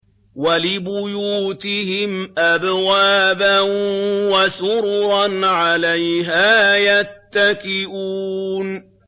وَلِبُيُوتِهِمْ أَبْوَابًا وَسُرُرًا عَلَيْهَا يَتَّكِئُونَ